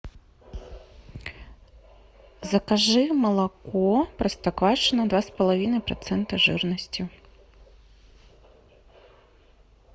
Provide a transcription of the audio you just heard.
закажи молоко простоквашино два с половиной процента жирности